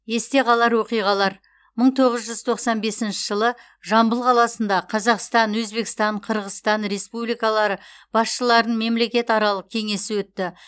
есте қалар оқиғалар мың тоғыз жүз тоқсан бесінші жылы жамбыл қаласында қазақстан өзбекстан қырғызстан республикалар басшыларының мемлекетаралық кеңесі өтті